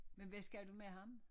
Men hvad skal du med ham?